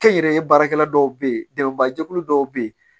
Kɛnyɛrɛye baarakɛla dɔw be yen dɛmɛba jɛkulu dɔw be yen